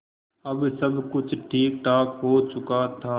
अब सब कुछ ठीकठाक हो चुका था